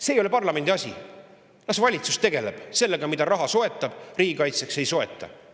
See ei ole parlamendi asi, las valitsus tegeleb sellega, mida ta soetab riigikaitseks ja mida ei soeta!